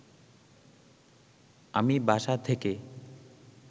আমি বাসা থেকে